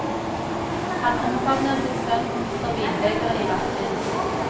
Han omfavner sin sønn og mister vinbegeret i bakken.